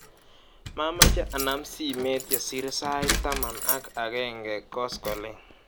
Mamache anam simet yesir sait taman ak aegenge koskoliny.